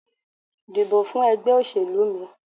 Dìbò fún ègbé òṣèlú mi